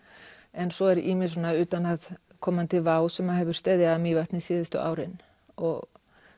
en svo er ýmis svona utanaðkomandi vá sem hefur steðjað að Mývatni síðustu árin og